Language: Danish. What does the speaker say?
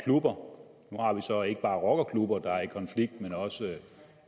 nu har vi så ikke bare rockerklubber der er i konflikt men også